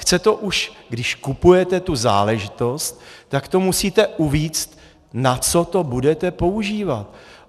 Chce to, už když kupujete tu záležitost, tak to musíte uvést, na co to budete používat.